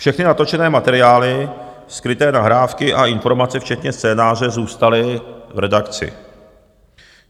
Všechny natočené materiály, skryté nahrávky a informace včetně scénáře zůstaly v redakci.